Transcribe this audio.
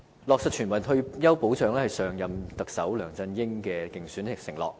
落實全民退休保障是上一任特首梁振英的競選承諾。